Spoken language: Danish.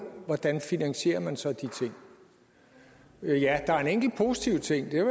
hvordan finansierer man så de ting ja der er en enkelt positiv ting